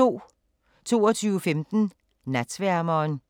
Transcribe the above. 22:15: Natsværmeren